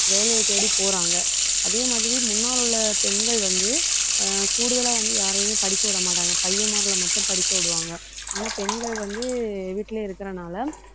வேலையை தேடி போறாங்க. அதே மாதிரி முன்னால உள்ள பெண்கள் வந்து ஆஹ் கூடுதலா வந்து யாரையுமே படிக்க விட மாட்டாங்க. பையன் முதல்ல மட்டும் படிக்க விடுவாங்க. ஆனா பெண்கள் வந்து வீட்டிலேயே இருக்கிறதுனால,